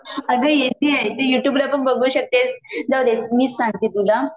अगं येते येते यू ट्यूब ला पण बघू शकतेस, जाऊदे मीच सांगते तुला